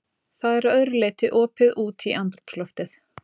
Það er að öðru leyti opið út í andrúmsloftið.